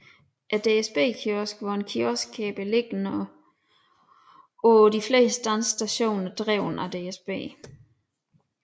DSB Kiosken var en kioskkæde beliggende på de fleste danske stationer drevet af DSB